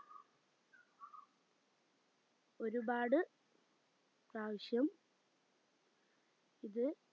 ഒരുപാട് പ്രാവശ്യം ഇത്